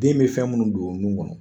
Den bɛ fɛn minnu don o nun kɔnɔ